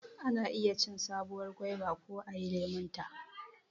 Ana iya cin sabuwar goba ko ayi lemonta.